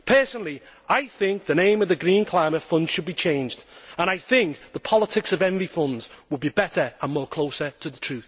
Personally, I think the name of the Green Climate Fund should be changed, and I think the Politics of Envy Fund' would be better and closer to the